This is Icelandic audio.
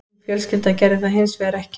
Mín fjölskylda gerði það hins vegar ekki